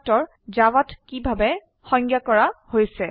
এতিয়া চাও যে কনষ্ট্ৰাক্টৰ জাভাত কিভাবে সংজ্ঞায় কৰা হৈছে